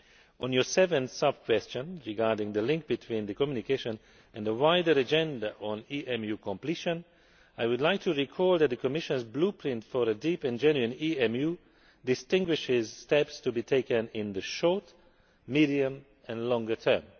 On your seventh sub question regarding the link between the Commission communication and the wider agenda on EMU completion, I would remind you that the Commission's Blueprint for a deep and genuine EMU' distinguishes steps to be taken in the short, medium and longer term.